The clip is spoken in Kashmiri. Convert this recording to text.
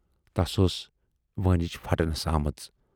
تَس ٲس وٲنج پھٹنَس آمٕژ۔